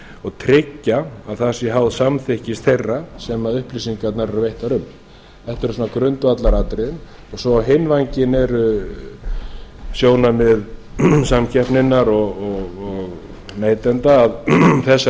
og tryggja að það sé háð samþykki þeirra sem upplýsingarnar eru veittar um þetta eru grundvallaratriðin á hinn bóginn eru sjónarmið samkeppninnar og neytenda að þessar